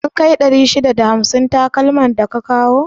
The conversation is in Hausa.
Sun kai 651 takalman da ka kawa?